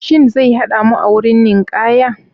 Shin zai hada mu a wurin ninkaya?